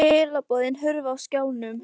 Skilaboðin hurfu af skjánum.